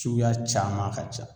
Cuguya caman ka ca